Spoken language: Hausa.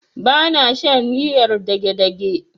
Ba na shan riyar dagedage.